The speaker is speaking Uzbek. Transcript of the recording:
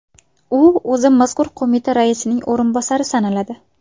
U o‘zi mazkur qo‘mita raisining o‘rinbosari sanaladi.